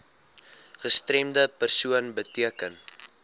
gestremde persoon beteken